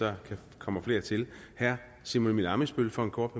der kan komme flere til herre simon emil ammitzbøll for en kort